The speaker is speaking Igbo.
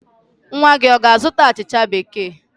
Nwa gị ọ ga-azụta achịcha Bekee?